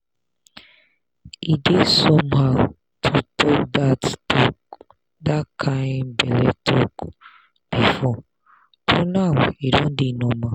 e dey somehow to talk that talk that kind belle talk before but now e don dey normal.